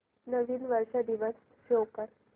नवीन वर्ष दिवस शो कर